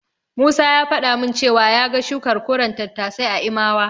Musa ya faɗa min cewa ya ga shukar koren tattasai a Imawa.